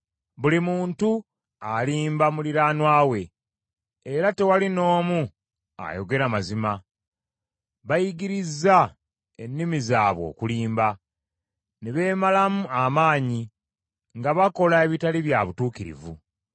Buli muntu alimba muliraanwa we era tewali n’omu ayogera mazima. Bayigirizza ennimi zaabwe okulimba ne beemalamu amaanyi nga bakola ebitali bya butuukirivu.